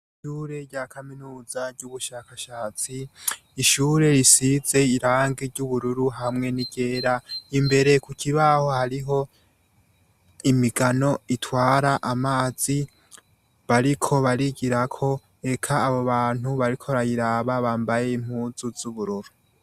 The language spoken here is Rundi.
ishure rya kaminuza ry’ubushakashatsi, ishure risize irangi ry’ubururu hamwe n’iryera imbere kukibaho hariho imigano itwara amazi bariko barigirako, eka abo bantu bariko barayiraba bambaye impuzu z’ubururu.